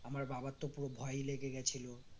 আমার বাবার তো পুরো ভয়ই লেগে গেছিল